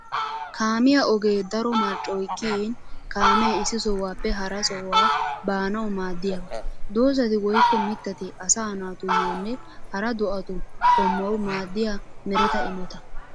Kaamiyaa ogee daro marccoy kiyin kaame issi sohuwappe hara sohuwa baanawu maadiyaba. Doozatti woykko mitatti asaa naatuyonne hara do'attu qumawu maadiya meretta imotta.